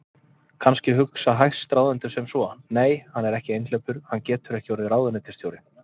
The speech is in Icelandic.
Kannski hugsa hæstráðendur sem svo: Nei, hann er einhleypur, hann getur ekki orðið ráðuneytisstjóri.